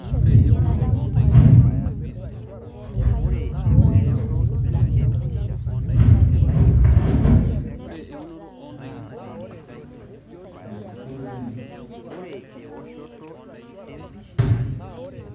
Ore empusha naa Kenya mposho tesitoo nidim ainyala